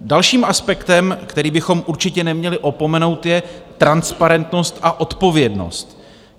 Dalším aspektem, který bychom určitě neměli opomenout, je transparentnost a odpovědnost.